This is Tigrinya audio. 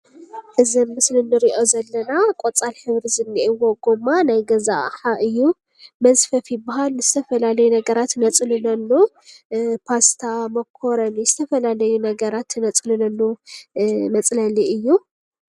እዚ አብ ምስሊ ንሪኦ ዘለና ቆፃል ሕብሪ ዝኒእዎ ጉማ ናይ ገዛ አቅሓ እዩ፡፡ መዝፈፊ ይበሃል ። ንዝተፈላለዩ ነገራት ነፅለሉ ፓስታ ፣ሞኮሪኒ ዝተፈላለዩ ነገራት ነፅልለሉ መፅለሊ እዩ፡፡